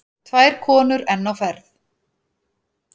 Tvær konur enn á ferð.